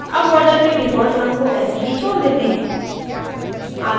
अब border के default रंग को ऐसे ही छोड़ देते हैं